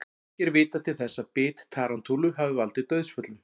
Ekki er vitað til þess að bit tarantúlu hafi valdið dauðsföllum.